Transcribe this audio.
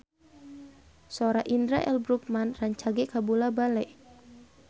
Sora Indra L. Bruggman rancage kabula-bale